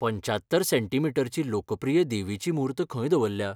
पंच्यात्तर सेंमी.ची लोकप्रिय देवीची मूर्त खंय दवरल्या?